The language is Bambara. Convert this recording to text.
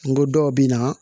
N ko dɔw bɛ na